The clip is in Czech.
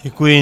Děkuji.